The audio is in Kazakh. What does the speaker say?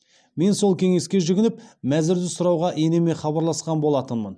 мен сол кеңеске жүгініп мәзірді сұрауға енеме хабарласқан болатынмын